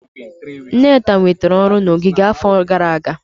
Nneka nwetara ọrụ na ogige n'afọ gara aga.